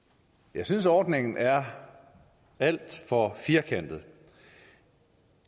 jeg synes at ordningen er alt for firkantet